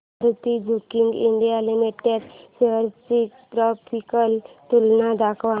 Maruti Suzuki India Limited shares ची graphical तुलना दाखव